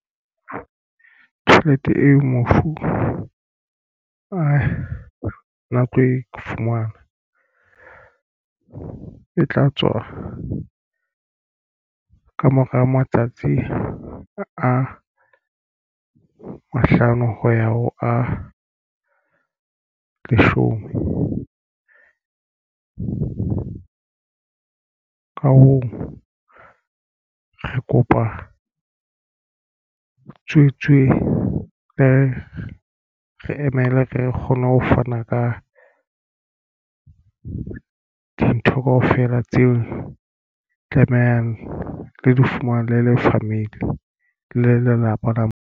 Tjhelete eo mofu a na tlo e fumana e tla tswa kamora matsatsi a mahlano ho ya ho a leshome. Ka hoo re kopa tswetswe re emele re kgone ho fana ka dintho kaofela tseo tlamehang le di fumane le le family le lelapa la.